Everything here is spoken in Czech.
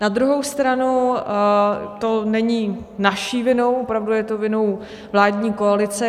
Na druhou stranu to není naší vinou, opravdu je to vinou vládní koalice.